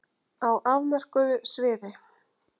Á afmörkuðu sviði.